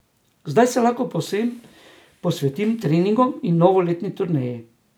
Zdaj se lahko povsem posvetim treningom in novoletni turneji.